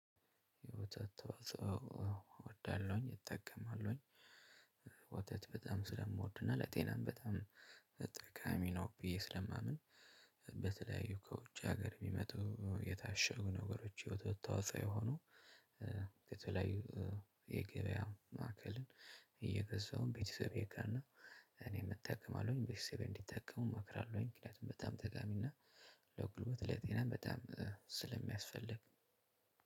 የወተት ተዋጾ አዎ እወዳለሁኝ እጠቀማለሁኝ። ወተት በጣም ስለምወድና ለጤናም በጣም ጠቃሚ ነው ብዬ ስለማምን። በተለያዩ ከውጭ ሀገር የሚመጡ የታሸጉ ነገሮች የወተት ተዋጾ የሆኑ። ከተለያዩ የገበያ ማዕከልን እየገዛሁም ቤተሰቤ ጋና እኔም እጠቀማለሁኝ ቤተሰቤ እንዲጠቀሙ እመክራለሁኝ። ምክንያቱም በጣም ጠቃሚና ለጉልበት ለጤና በጣም ስለሚያስፈልግ